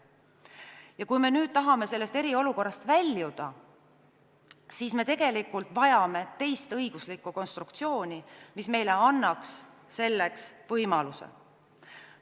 Ja kui me nüüd tahame eriolukorrast väljuda, siis tegelikult vajame me teist õiguslikku konstruktsiooni, mis annaks meile selleks võimaluse.